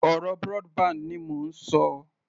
Ọ̀rọ̀ broadband ni mò ń ṣọ